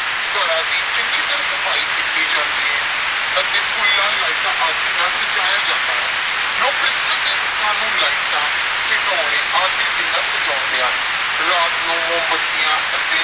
ਘਰਾਂ ਦੀ ਚੰਗੀ ਤਰ੍ਹਾਂ ਸਫ਼ਾਈ ਕੀਤੀ ਜਾਂਦੀ ਹੈ ਅਤੇ ਫੁੱਲਾਂ, ਲਾਈਟਾਂ ਆਦਿ ਨਾਲ ਸਜਾਇਆ ਜਾਂਦਾ ਹੈ ਲੋਕ ਕ੍ਰਿਸਮਸ ਦੇ ਰੁੱਖਾਂ ਨੂੰ ਲਾਈਟਾਂ, ਖਿਡੌਣੇ ਆਦਿ ਦੇ ਨਾਲ ਸਜਾਉਂਦੇ ਹਨ, ਰਾਤ ਨੂੰ ਮੋਮਬੱਤੀਆਂ ਅਤੇ